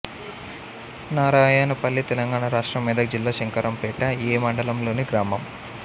నారాయణపల్లి తెలంగాణ రాష్ట్రం మెదక్ జిల్లా శంకరంపేట ఎ మండలంలోని గ్రామం